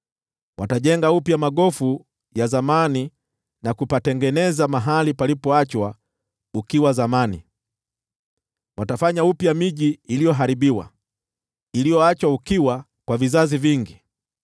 Watajenga upya magofu ya zamani na kupatengeneza mahali palipoachwa ukiwa zamani; watafanya upya miji iliyoharibiwa, iliyoachwa ukiwa kwa vizazi vingi.